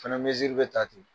Fana bɛ ta ten